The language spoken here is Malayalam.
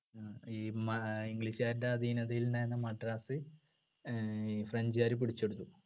ഈ മാ english കാരുടെ അധീനതയിൽ ഉണ്ടായിരുന്ന മദ്രാസ് ഏർ french കാര് പിടിച്ചെടുത്തു